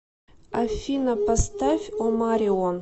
афина поставь омарион